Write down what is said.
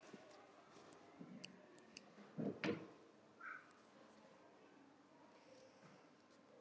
Jóhann Jóhannsson: Og hvernig er líðan barnsins?